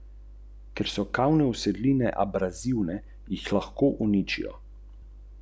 Razstave so potekale po šest tednov v vsakem večjem kraju.